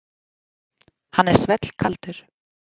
Hann er svellkaldur.